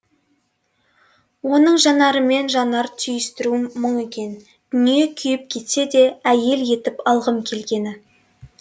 оның жанарымен жанар түйістіруім мұң екен дүние күйіп кетсе де әйел етіп алғым келгені